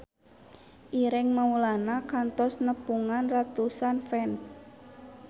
Ireng Maulana kantos nepungan ratusan fans